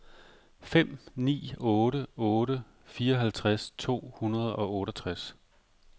fem ni otte otte fireoghalvtreds to hundrede og otteogtres